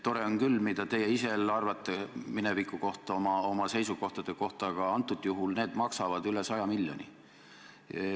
See on küll tore, mida te ise arvate mineviku kohta, oma seisukohtade kohta, aga antud juhul maksavad need üle 100 miljoni.